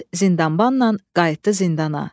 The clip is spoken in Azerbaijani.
Əhməd zindanbanla qayıtdı zindana.